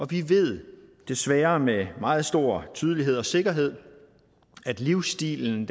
vi ved desværre med meget stor tydelighed og sikkerhed at livsstilen